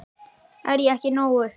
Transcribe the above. Er ég ekki nógu misheppnaður fyrir þig?